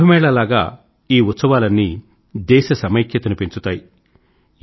కుంభ్ మేళా లాగ ఈ ఉత్సవాలన్నీ దేశ సమైక్యతను పెంచుతాయి